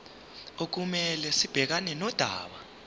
okumele sibhekane nodaba